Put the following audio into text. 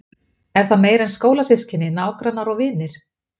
Er það meira en skólasystkini, nágrannar og vinir?